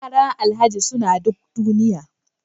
Yaran alhaji suna duk duniya